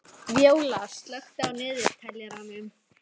Víóla, slökktu á niðurteljaranum.